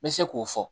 N bɛ se k'o fɔ